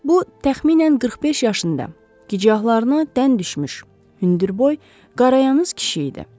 Bu təxminən 45 yaşında, gicgahlarına dən düşmüş, hündürboy, qarayanız kişi idi.